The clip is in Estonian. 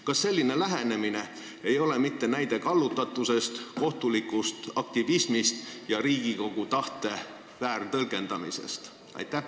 Kas selline lähenemine ei ole mitte näide kallutatusest, kohtulikust aktivismist ja Riigikogu tahte väärtõlgendamisest?